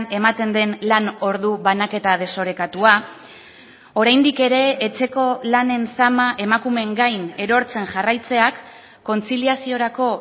ematen den lan ordu banaketa desorekatua oraindik ere etxeko lanen zama emakumeen gain erortzen jarraitzeak kontziliaziorako